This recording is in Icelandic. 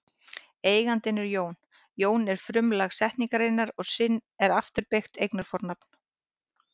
Eigandinn er Jón, Jón er frumlag setningarinnar og sinn er afturbeygt eignarfornafn.